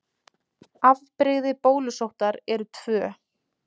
Afbrigði bólusóttar eru tvö.